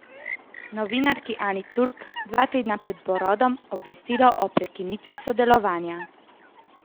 Novinarki Ani Turk dva tedna pred porodom obvestilo o prekinitvi sodelovanja.